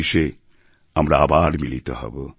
২০১৯এ আমরা আবার মিলিত হবো